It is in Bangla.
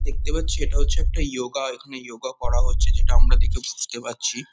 দেখতে পাচ্ছি এটা হচ্ছে একটা ইয়োগা এখানে ইয়োগা করা হচ্ছে যেটা আমরা দেখে বুঝতে পারছি।